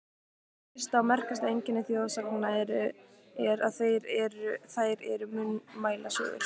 Fyrsta og merkasta einkenni þjóðsagna er, að þær eru munnmælasögur.